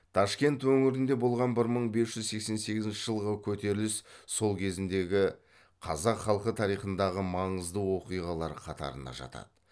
ташкент өңірінде болған бір мың бес жүз сексен сегізінші жылғы көтеріліс сол кезіндегі қазақ халқы тарихындағы маңызды оқиғалар қатарына жатады